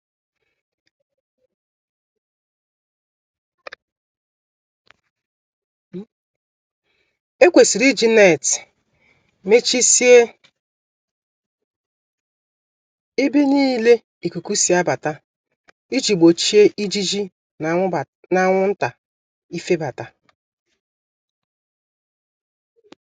Ekwesịrị iji neetị mechisie ebe nile ikuku si abata, iji gbochie ijiji na anwụnta ifebata.